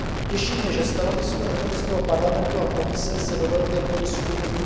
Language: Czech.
Těší mě, že stanovisko Evropského parlamentu a Komise se do velké míry shodují.